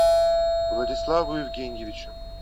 владиславу евгеньевичу